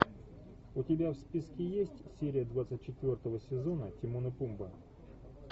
у тебя в списке есть серия двадцать четвертого сезона тимон и пумба